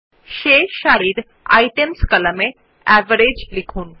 শেষ সারির আইটেমস কলামে এভারেজ লিখুন